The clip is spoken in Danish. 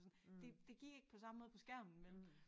Sådan det det gik ikke på samme måde på skærmen vel